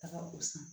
Taga gosi